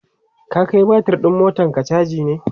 ka Kai batir ɗin motanka chaji ne?